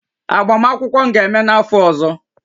Agbamakwụkwọ m ga-eme n'afọ ọzọ